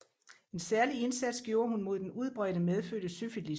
En særlig indsats gjorde hun mod den udbredte medfødte syfilis